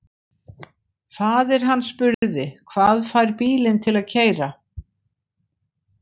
Faðir hann spurði: Hvað fær bílinn til að keyra?